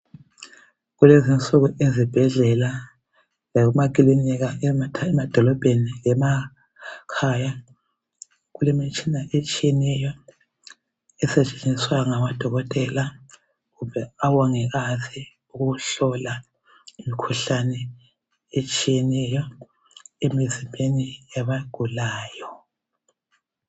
Kulezinsuku ezibhedlela lasemakilinika emadolobheni lemakhaya kulemitshina etshiyeneyo esetshenziswa ngodokotela kumbe omongikazi ukuhlola imikhuhlane etshiyeneyo emizimbeni yabagulayo.